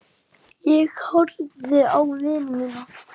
Ég horfði á vini mína.